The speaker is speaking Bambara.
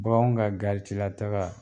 Bagan ka garitila taga